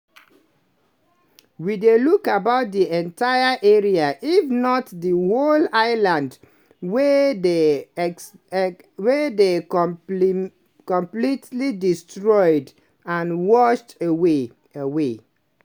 "we dey look about di entire area if not di whole island wey dey completely destroyed and washed away. away.